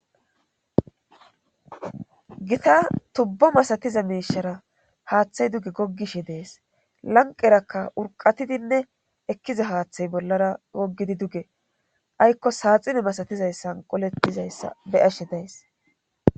gita tubbo masatiza miishara haaththay duge goggishe dees lanqerakka urqatidinne ekkiza haaththay bollara goggidi duge aykko saaxine masatizayssan qolettizayssa beyashe days